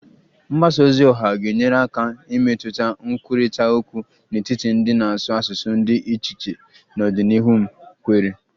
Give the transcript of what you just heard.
Mgbasa ozi oha ga-enyere aka imetụta nkwurịta okwu n'etiti ndị na-asụ asụsụ dị iche iche n'ọdịnihu m kweere